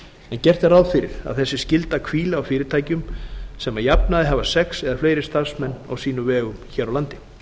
en gert er ráð fyrir að þessi skylda hvíli á fyrirtækjum sem að jafnaði hafa sex eða fleiri starfsmenn á sínum vegum hér á landi